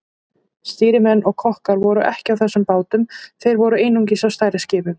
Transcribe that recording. Stýrimenn og kokkar voru ekki á þessum bátum, þeir voru einungis á stærri skipunum.